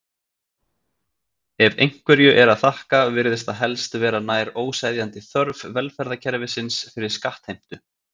Ef einhverju er að þakka virðist það helst vera nær óseðjandi þörf velferðarkerfisins fyrir skattheimtu.